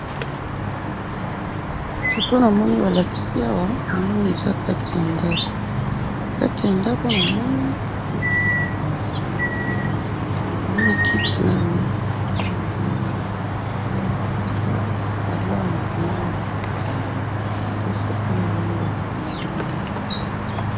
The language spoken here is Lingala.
Foto namoni balakisi awa, namoni eza kati ya ndako, kati ya ndako namoni kiti, eh! Namoni kiti na mesa nde namoni awa, eza salon ya munene, nde foto namoni balakisi ngayi,